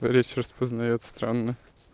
речь распознает странно